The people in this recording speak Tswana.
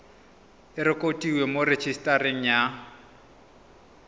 e rekotiwe mo rejisetareng ya